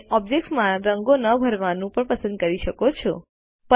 તમે ઓબ્જેક્ટમાં રંગો ન ભરવાનું પણ પસંદ કરી શકો છો